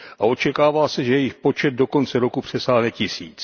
A očekává se, že jejich počet do konce roku přesáhne tisíc.